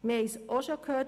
Wir haben es gehört: